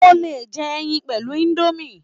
O lè jẹ ẹyin pẹ̀lú indomie